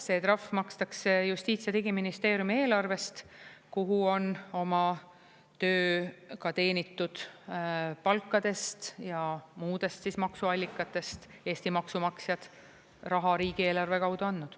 See trahv makstakse Justiits- ja Digiministeeriumi eelarvest, kuhu on oma töö ka teenitud palkadest ja muudest maksuallikatest Eesti maksumaksjad raha riigieelarve kaudu andnud.